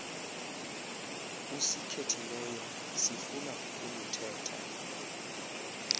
usikhethileyo sifuna uluthetha